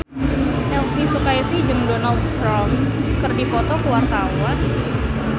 Elvi Sukaesih jeung Donald Trump keur dipoto ku wartawan